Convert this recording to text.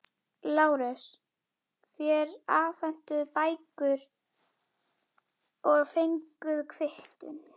LÁRUS: Þér afhentuð bækurnar og fenguð kvittun.